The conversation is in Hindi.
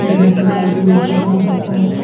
ये रेस्टोरेंट जैसे भी अच्छा से हो सकता है।